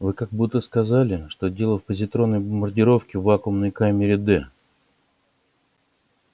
вы как будто сказали что дело в позитронной бомбардировке в вакуумной камере д